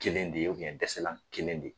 Kelen de ye dɛsɛlan kelen de ye.